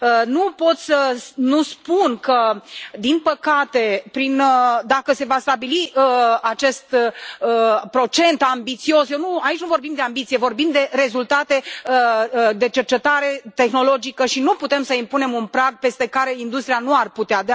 Nu pot să nu spun că, din păcate, dacă se va stabili acest procent ambițios Aici nu vorbim de ambiție, vorbim de rezultate, de cercetare tehnologică și nu putem să impunem un prag peste care industria nu ar putea.